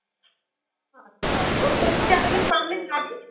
আচ্ছা একদম